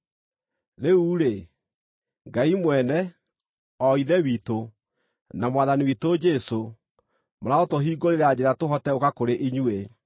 Rĩu-rĩ, Ngai mwene, o Ithe witũ, na Mwathani witũ Jesũ, marotũhingũrĩra njĩra tũhote gũũka kũrĩ inyuĩ.